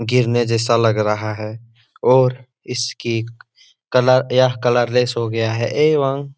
गिरने जैसा लग रहा है और इसके कलर यह कलर लेस हो गया है एवं --